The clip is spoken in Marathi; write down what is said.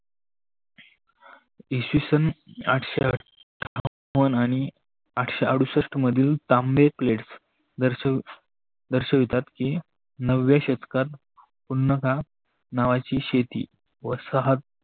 इसवी सन आठशे आठ्ठावन आणि आठ्ठशे आडूसठ मधिल ताम्बे प्लेट दर्शवतात ते नव्या शतकात उन्नका नावाची शेती वसाहत